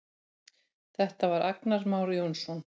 Þetta var Agnar Már Jónsson.